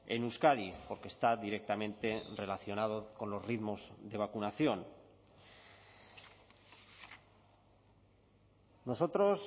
en euskadi porque está directamente relacionado con los ritmos de vacunación nosotros